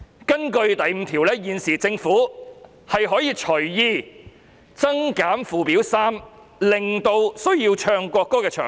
根據第5條，現時政府可以隨意增減附表3的內容，以增減須奏唱國歌的場合。